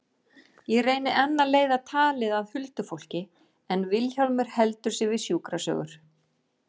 Ég reyni enn að leiða talið að huldufólki en Vilhjálmur heldur sig við sjúkrasögur.